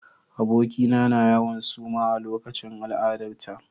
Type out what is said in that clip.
Abokina na yawan suma a lokacin al'adarta.